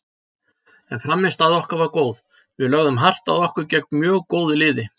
En frammistaða okkar var góð, við lögðum hart að okkur gegn mjög góðu liði.